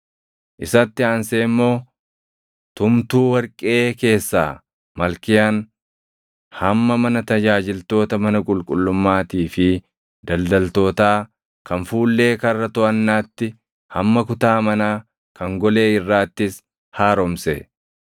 Isatti aansee immoo tumtuu warqee keessaa Malkiyaan hamma mana tajaajiltoota mana qulqullummaatii fi daldaltootaa kan fuullee Karra Toʼannaatti, hamma kutaa manaa kan golee irraattis haaromse;